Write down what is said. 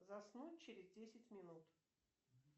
заснуть через десять минут